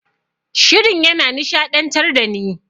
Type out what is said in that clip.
Shirin yana nishaɗantar dani.